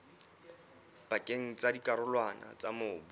pakeng tsa dikarolwana tsa mobu